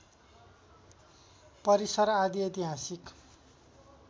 परिसर आदि ऐतिहासिक